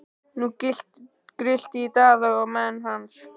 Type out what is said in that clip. Nú grillti í Daða og menn hans.